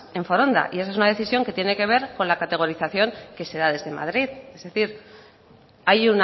en foronda y esa es una decisión que tiene que ver con la categorización que se da desde madrid es decir hay